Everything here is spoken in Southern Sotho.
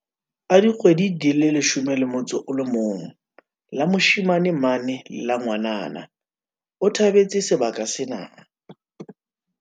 a dikgwedi di 11, la moshe mane le la ngwanana, o tha betse sebaka sena.